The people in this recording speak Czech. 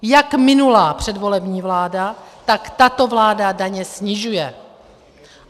Jak minulá, předvolební vláda, tak tato vláda daně snižuje.